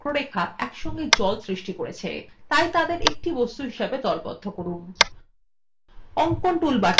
ত্রিভুজ এবং বক্ররেখা একসঙ্গে জল সৃষ্টি করছে তাই তাদের একটি বস্তু হিসাবে দলবদ্ধ করুন